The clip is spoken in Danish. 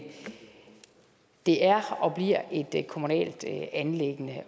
det er og bliver et kommunalt anliggende